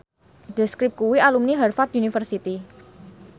The Script kuwi alumni Harvard university